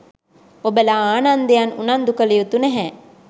ඔබලා ආනන්දයන් උනන්දු කළයුතු නැහැ.